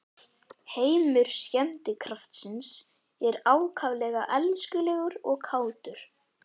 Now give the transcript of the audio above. Heimur skemmtikraftsins er ákaflega elskulegur og kátur.